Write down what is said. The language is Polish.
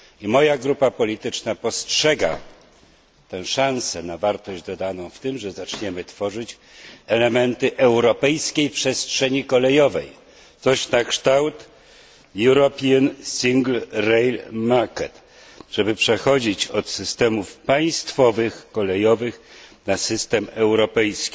Moja grupa polityczna dostrzega tę szansę na wartość dodaną w tym, że zaczniemy tworzyć elementy europejskiej przestrzeni kolejowej, coś na kształt European Single Rail Market tak aby przechodzić od państwowych systemów kolejowych na system europejski.